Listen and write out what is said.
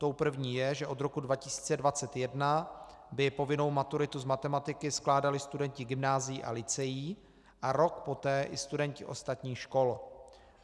Tou první je, že od roku 2021 by povinnou maturitu z matematiky skládali studenti gymnázií a lyceí a rok poté i studenti ostatních škol.